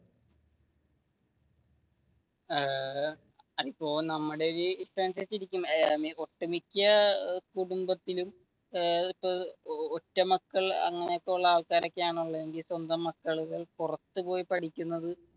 ഏർ അതിപ്പോ നമ്മുടെ ഒരു ഇതനുസരിച്ചു ഇരിക്കും ഒട്ടു മിക്യ കുടുംബത്തിലും ഒറ്റ മക്കൾ അങ്ങനെയൊക്കെയുള്ള ആൾക്കാർ ഒക്കെയാണ് ഉള്ളതെങ്കിൽ സ്വന്തം മക്കൾ പുറത്തു പോയി പഠിക്കുന്നത്.